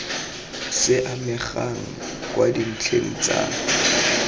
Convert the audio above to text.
se amegang kwa dintlheng tsa